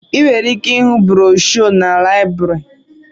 Enwere ike ịhụ broshuọ na láịbụrị